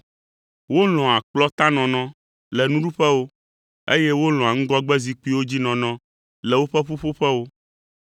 Wolɔ̃a kplɔ̃tanɔnɔ le nuɖuƒewo, eye wolɔ̃a ŋgɔgbezikpuiwo dzi nɔnɔ le woƒe ƒuƒoƒewo.